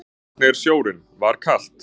Sunna: Hvernig er sjórinn, var kalt?